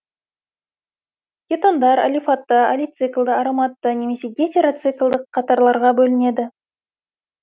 кетондар алифатты алициклді ароматты немесе гетероциклді қатарларға бөлінеді